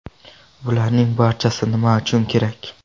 Bularning barchasi nima uchun kerak?